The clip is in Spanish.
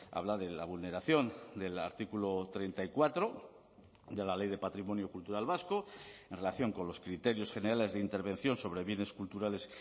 habla de la vulneración del artículo treinta y cuatro de la ley de patrimonio cultural vasco en relación con los criterios generales de intervención sobre bienes culturales